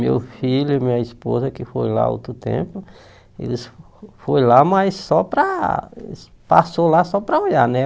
Meu filho e minha esposa que foram lá outro tempo, eles foram lá, mas só para... Passaram lá só para olhar, né?